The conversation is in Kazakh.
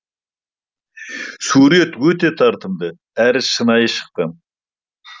сурет өте тартымды әрі шынайы шыққан